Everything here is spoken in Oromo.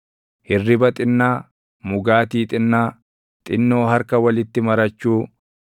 hirriba xinnaa; mugaatii xinnaa; xinnoo harka walitti marachuu;